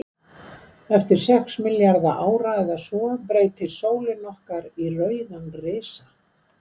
Eftir sex milljarða ára eða svo, breytist sólin okkar í rauðan risa.